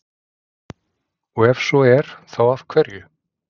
Og ef svo er þá af hverju?